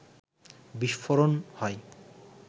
বিস্ফোরণ হয়